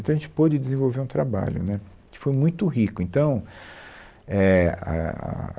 Então, a gente pôde desenvolver um trabalho, né, que foi muito rico. Então, é, a, ah